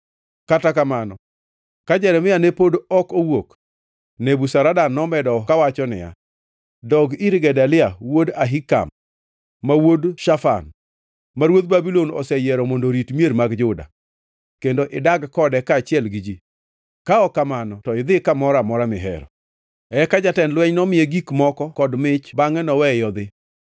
Kata kamano, ka Jeremia ne pod ok owuok, Nebuzaradan nomedo kawacho niya, “Dog ir Gedalia wuod Ahikam, ma wuod Shafan, ma ruodh Babulon oseyiero mondo orit mier mag Juda, kendo idag kode kaachiel gi ji, ka ok kamano to idhi kamoro amora mihero.” Eka jatend lweny nomiye gik moko kod mich bangʼe noweye odhi.